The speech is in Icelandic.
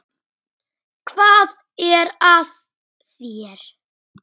Hvað er að þér?